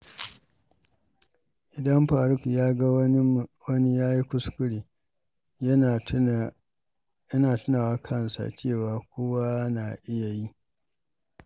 Idan Faruk ya ga wani ya yi kuskure, yana tuna wa kansa cewa kowa na iya yi.